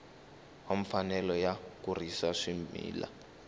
wa mfanelo yo kurisa swimila